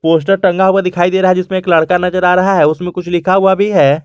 Poster टंगा हुआ दिखाई दे रहा है जिसमें एक लडका नजर आ रहा है उसमें कुछ लिखा हुआ भी है।